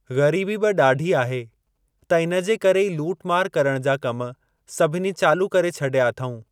ग़रीबी बि ॾाढी आहे त इन जे करे ई लूट मार करण जा कम सभिनी चालू करे छॾिया अथऊं।